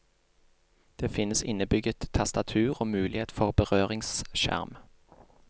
Det finnes innebygget tastatur og mulighet for berøringsskjerm.